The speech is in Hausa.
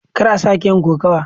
Kar a sake yin kokawa.